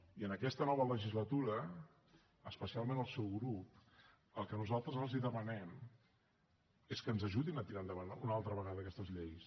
i en aquesta nova legislatura especialment al seu grup el que nosaltres els demanem és que ens ajudin a tirar endavant una altra vegada aquestes lleis